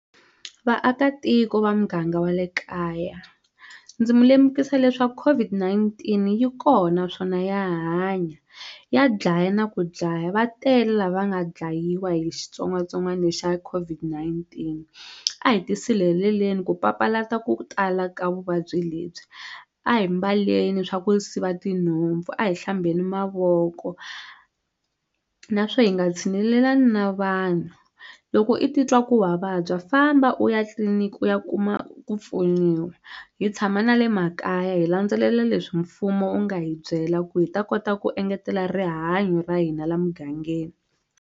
Vaakatiko va muganga wa le kaya ndzi mu lemukisa leswaku COVID-19 yi kona naswona ya hanya ya dlaya na ku dlaya va tele lava nga dlayiwa hi xitsongwatsongwana xa COVID-19 a hi tisirheleleni ku papalata ku tala ka vuvabyi lebyi a hi mbaleleni swa ku siva tinhompfu a hi hlambheni mavoko na swo hi nga tshinelelani na vanhu loko i titwa ku wa vabya famba u ya tliliniki u ya kuma ku pfuniwa hi tshama na le makaya hi landzelela leswi mfumo wu nga hi byela ku hi ta kota ku engetela rihanyo ra hina la mugangeni.